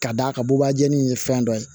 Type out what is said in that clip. K'a d'a ka bubajɛni ye fɛn dɔ ye